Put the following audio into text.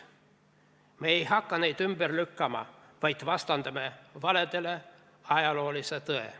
Me ei hakka neid ümber lükkama, vaid vastandame valedele ajaloolise tõe.